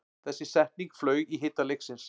Þessi setning flaug í hita leiksins